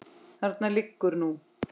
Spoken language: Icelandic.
Þarna liggur nú